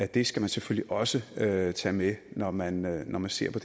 det skal selvfølgelig også tages med med når man når man ser på